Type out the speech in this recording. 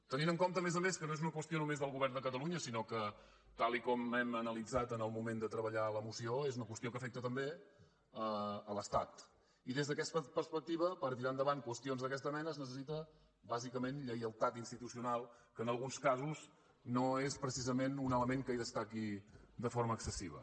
tenint en compte a més a més que no és una qüestió només del govern de catalunya sinó que tal com hem analitzat en el moment de treballar la moció és una qüestió que afecta també l’estat i des d’aquesta perspectiva per tirar endavant qüestions d’aquesta mena es necessita bàsicament lleialtat institucional que en alguns casos no és precisament un element que hi destaqui de forma excessiva